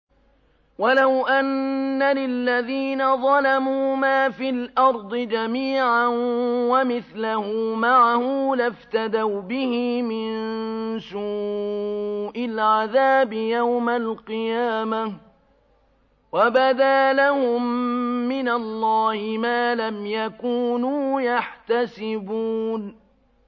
وَلَوْ أَنَّ لِلَّذِينَ ظَلَمُوا مَا فِي الْأَرْضِ جَمِيعًا وَمِثْلَهُ مَعَهُ لَافْتَدَوْا بِهِ مِن سُوءِ الْعَذَابِ يَوْمَ الْقِيَامَةِ ۚ وَبَدَا لَهُم مِّنَ اللَّهِ مَا لَمْ يَكُونُوا يَحْتَسِبُونَ